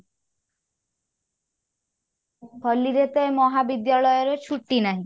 ହୋଲି ରେ ତ ଏ ମହାବିଦ୍ୟାଳୟ ରେ ଛୁଟି ନାହିଁ।